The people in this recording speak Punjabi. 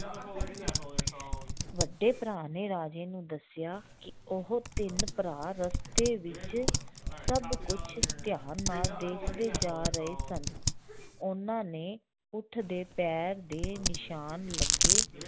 ਵੱਡੇ ਭਰਾ ਨੇ ਰਾਜੇ ਨੂੰ ਦੱਸਿਆ ਕਿ ਉਹ ਤਿੰਨ ਭਰਾ ਰਸਤੇ ਵਿੱਚ ਸਭ ਕੁਛ ਧਿਆਨ ਨਾਲ ਦੇਖਦੇ ਜਾ ਰਹੇ ਸਨ ਉਹਨਾਂ ਨੇ ਊਠ ਦੇ ਪੈਰ ਦੇ ਨਿਸ਼ਾਨ ਲੱਗੇ